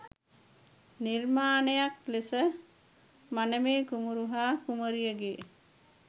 නිර්මාණයක් ලෙස මනමේ කුමරු හා කුමරියගේ